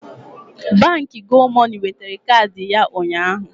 Baankị Gomoney wetara kaadị ya ụnyaahụ